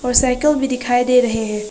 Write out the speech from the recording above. Cycle भी दिखाई दे रहे हैं।